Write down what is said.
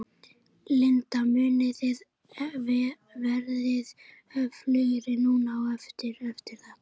Linda: Munið þið verða öflugri núna á eftir, eftir þetta?